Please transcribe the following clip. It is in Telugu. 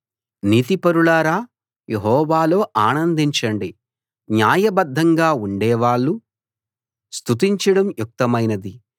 నీతిపరులారా యెహోవాలో ఆనందించండి న్యాయబద్ధంగా ఉండేవాళ్ళు స్తుతించడం యుక్తమైనది